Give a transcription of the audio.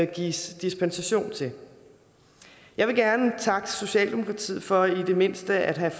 gives dispensation til jeg vil gerne takke socialdemokratiet for i det mindste at have